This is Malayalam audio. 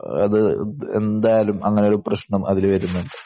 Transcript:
അത് എന്തായാലും അങ്ങനെയൊരു പ്രശ്നം അതിൽ വരുന്നുണ്ട്.